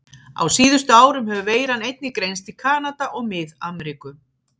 Á síðustu árum hefur veiran einnig greinst í Kanada og Mið-Ameríku.